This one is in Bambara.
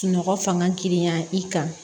Sunɔgɔ fanga girinya i kan